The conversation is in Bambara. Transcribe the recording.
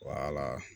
Wala